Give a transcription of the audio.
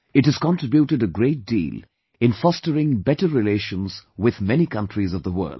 It has contributed a great deal in fostering better relations with many countries of the world